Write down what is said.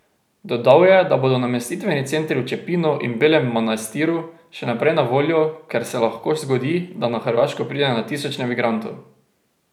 Dodal je, da bodo namestitveni centri v Čepinu in Belem Manastiru še naprej na voljo, ker se lahko zgodi, da na Hrvaško pride še tisoče migrantov.